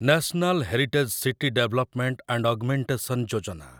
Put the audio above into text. national heritage city development and augmentation Yojana